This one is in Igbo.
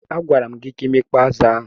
A gwara m gi ka imekpọ azu ahụ.